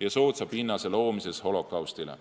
ja soodsa pinnase loomises holokaustile.